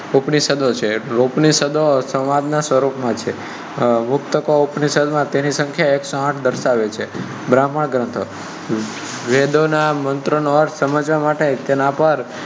ઉપનિષેદો સંવાદ ના સ્વરૂપ માં છે. પુસ્તકો ઉપનિષેદો તેની સંખ્યા એકસો આઠ દર્શાવે છે. બ્રમ્હાન ગ્રંથો - વેદો ના મંત્રો નો અર્થ સમજવા માટે તેના પર ઉપનિષેદો છે.